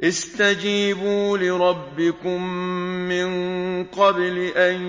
اسْتَجِيبُوا لِرَبِّكُم مِّن قَبْلِ أَن